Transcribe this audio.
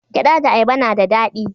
Gyada da ayaba na da dadi